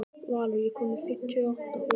Valur, ég kom með fimmtíu og átta húfur!